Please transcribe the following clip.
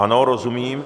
Ano, rozumím.